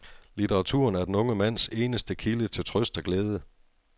Litteraturen er den unge mands eneste kilde til trøst og glæde.